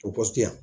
O pɔsi yan